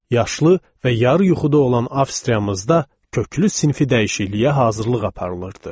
Yaşlı və yarı yuxuda olan Avstriyamızda köklü sinfi dəyişikliyə hazırlıq aparılırdı.